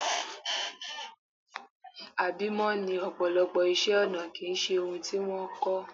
Àbímọ́ ni ọ̀pọ̀lọpọ̀ iṣẹ́-ọnà kì í ṣe ohun tí wọ́n kọ́.